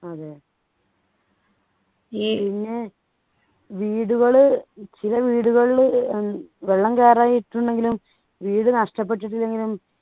അതെ പിന്നെ വീടുകൾ ചില വീടുകളിൽ ഏർ വെള്ളം കയറായിട്ടുണ്ടെങ്കിലും ഇണ്ടെങ്കിലും വീട് നഷ്ടപ്പെട്ടിട്ടില്ലെങ്കിലും